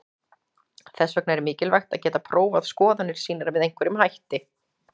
Þess vegna er mikilvægt að geta prófað skoðanir sínar með einhverjum hætti.